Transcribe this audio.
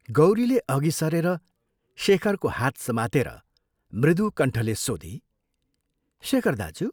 गौरीले अघि सरेर शेखरको हात समातेर मृदु कण्ठले सोधी " शेखर दाज्यू!